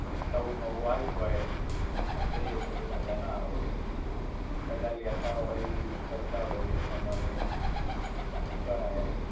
નવું નવું આયુ હોય, અને તેય એક તો બહુ મજા ના આવે. બધા લેતા હોય, use કરતા હોય એ પ્રમાણે કરાય એમ.